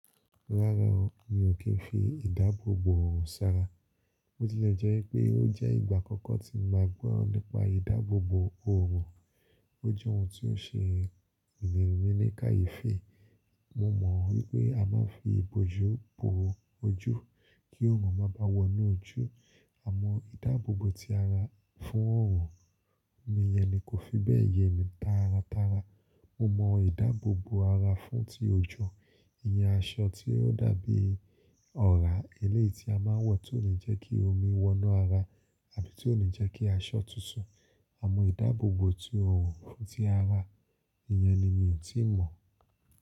Rárá o, mi ò kí ń fi ìdáàbòbò òòrùn sanra. Bo ti lẹ̀ jẹ́ pé ó jẹ́ ìgbà àkọ́kọ́ tí mo ma gbọ nípa ìdáàbòbò òòrùn. Ó jẹ́ ohun tí ó n ṣe emí ní kayefi. Mo mọ̀ wípé a máa ń fi ìbòjú bò ojú kí òòrùn má bà wọnú ojú. Àmọ́ ìdáàbòbò ti ara fún òòrùn, mi iyẹn ni kò fi bẹ́ẹ̀ ye mi táratára. Mo mọ̀ ìdáàbòbò ara fún ti òjò, ìyẹ́n aṣọ tí ó dàbí ọ̀rá, eléeti a máa ń wọ̀ tí ó ní jẹ́ kí omi wọ́nà ara àbí tí ó ní jẹ́ kí aṣọ tutu. Àmọ́ ìdáàbòbò tí òòrùn fún ti ara, ìyẹn ni mi ò tíì mọ̀.